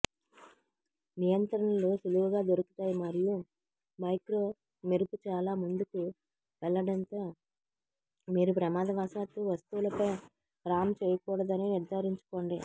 నియంత్రణలు సులువుగా దొరుకుతాయి మరియు మైక్రో మెరుపు చాలా ముందుకు వెళ్లడంతో మీరు ప్రమాదవశాత్తు వస్తువులపై రామ్ చేయకూడదని నిర్ధారించుకోండి